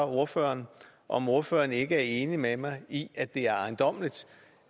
ordføreren om ordføreren ikke er enig med mig i at det er ejendommeligt